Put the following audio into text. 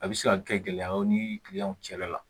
A bɛ se ka kɛ gɛlɛyaw ni kiliyanw cɛla la